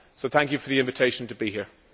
Thank you for the invitation to be here.